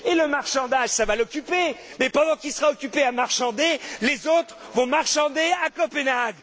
Et le marchandage, ça va l'occuper, mais pendant qu'il sera occupé à marchander, les autres vont marchander à Copenhague.